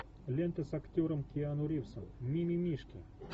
лента с актером киану ривзом ми ми мишки